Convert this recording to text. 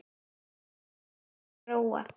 Klærnar sýnir Góa.